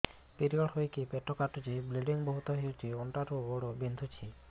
period ହୋଇକି ପେଟ କାଟୁଛି ବ୍ଲିଡ଼ିଙ୍ଗ ବହୁତ ହଉଚି ଅଣ୍ଟା ରୁ ଗୋଡ ବିନ୍ଧୁଛି